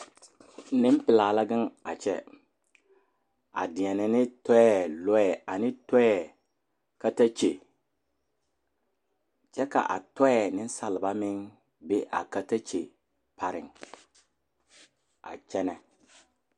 Nempelaa la gaŋe a kyԑ, a deԑnԑ ne tͻԑ lͻԑ ane tͻԑ katakye kyԑ ka a tͻԑ nensaleba meŋ be a katakye pareŋ a kyԑnԑ.